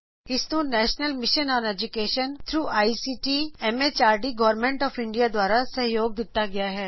ਇਹ ਭਾਰਤ ਸਰਕਾਰ ਦੇ ਐਮਐਚਆਰਡੀ ਦੇ ਆਈਸੀਟੀ ਦੇ ਜਰੀਏ ਰਾਸ਼ਟਰੀੲ ਸ਼ਾਕਸ਼ਰਤਾ ਮਿਸ਼ਨ ਦੁਆਰਾ ਮਾਨਇਤਾ ਪ੍ਰਾਪਤ ਹੈ